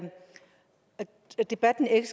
debatten ikke